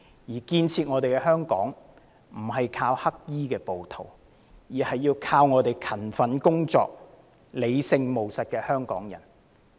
要建設香港，靠的不是黑衣暴徒，而是勤奮工作、理性務實的香港人。